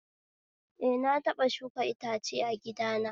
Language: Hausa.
Eh, na taɓa shuka itace a gidana